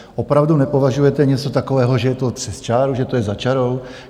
Opravdu nepovažujete něco takového, že je to přes čáru, že to je za čárou?